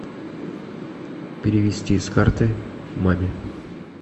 перевести с карты маме